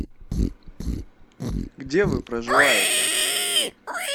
где вы проживаете